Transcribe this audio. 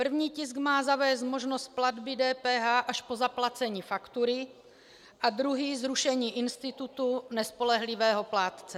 První tisk má zavést možnost platby DPH až po zaplacení faktury a druhý zrušení institutu nespolehlivého plátce.